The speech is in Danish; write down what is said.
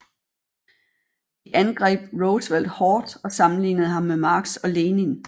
De angreb Roosevelt hårdt og sammenlignede ham med Marx og Lenin